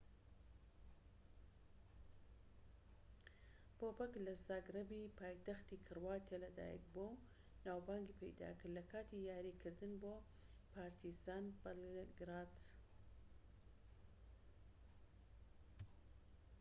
بۆبەک لە زاگرەبی پایتەختی کرواتیا لەدایکبووە و ناوبانگی پەیداکرد لەکاتی یاریکردن بۆ پارتیزان بەلگراد